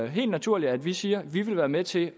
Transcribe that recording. helt naturligt at vi siger at vi vil være med til